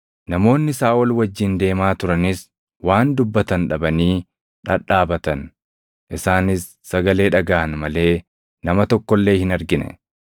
Namoonni Saaʼol wajjin deemaa turanis waan dubbatan dhabanii dhadhaabatan; isaanis sagalee dhagaʼan malee nama tokko illee hin argine.